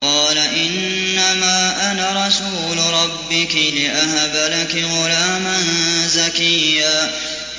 قَالَ إِنَّمَا أَنَا رَسُولُ رَبِّكِ لِأَهَبَ لَكِ غُلَامًا زَكِيًّا